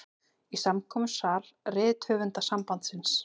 Í samkomusal Rithöfundasambandsins.